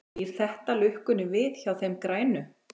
Snýr þetta lukkunni við hjá þeim grænu?